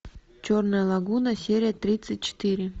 черная лагуна серия тридцать четыре